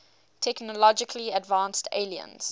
technologically advanced aliens